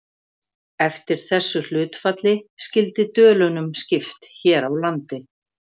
Eftir þessu hlutfalli skyldi dölunum skipt hér á landi.